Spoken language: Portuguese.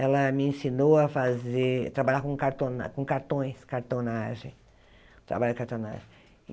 Ela me ensinou a fazer trabalhar com cartona com cartões, cartonagem. Trabalhar com